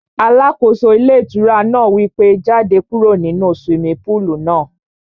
Alákóso ilé ìtura náà wí pé, jáde kúrò nínu swimming pool náà